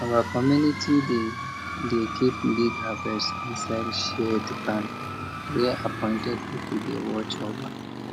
our community dey dey keep big harvest inside shared barn wey appointed people dey watch over